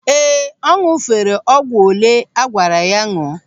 Ee, ọ ñụ̀fere ọgwụ olee agwara ya ñụọ.